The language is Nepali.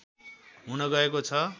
हुन गएको छ